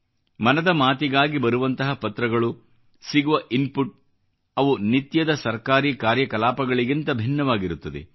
ಮನದ ಮಾತಿಗಾಗಿ ಬರುವಂತಹ ಪತ್ರಗಳು ಸಿಗುವ ಇನ್ಪುಟ್ ಅವು ನಿತ್ಯದ ಸರ್ಕಾರೀ ಕಾರ್ಯಕಲಾಪಗಳಿಗಿಂತ ಭಿನ್ನವಾಗಿರುತ್ತದೆ